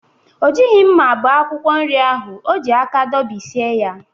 O jighi mma bie akwụkwọ nri ahụ. O ji aka dọbisie ya.